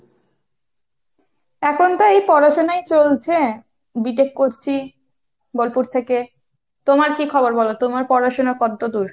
এখন তো এই পড়াশোনাই চলছে, B tech করছি বোলপুর থেকে। তোমার কী খবর বলো? তোমার পড়াশোনা কতদূর?